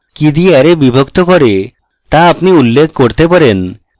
কি দিয়ে অ্যারে বিভক্ত করে তা আপনি উল্লেখ করতে পারেন